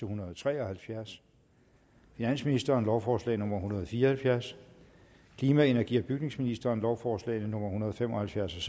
hundrede og tre og halvfjerds finansministeren lovforslag nummer hundrede og fire og halvfjerds klima energi og bygningsministeren lovforslag nummer hundrede og fem og halvfjerds og